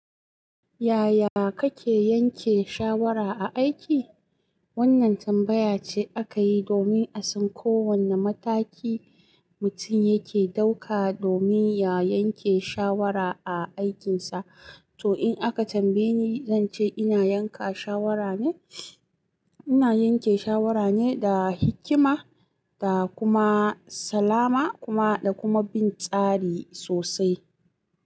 Yaya kake yanke shawara a aiki? Wannan tambaya ce aka yi domin a san ko wanna mataki mutum yake ɗauka domin ya yanke shawara a aikinsa. To in aka tambaye ni, zan ce ina yanka shawara ne, ina yanke shawara ne da hikima da kuma salama kuma da kuma bin tsari sosai.